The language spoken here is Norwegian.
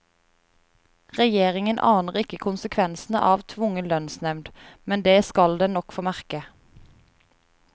Regjeringen aner ikke konsekvensene av tvungen lønnsnevnd, men det skal den nok få merke.